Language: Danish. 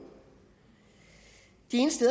de eneste